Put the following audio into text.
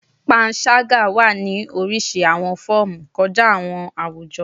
Panṣaga wa ni orisirisi awọn fọọmu kọja awọn awujo